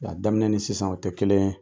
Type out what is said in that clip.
Wa a daminɛ ni sisan o tɛ kelen ye.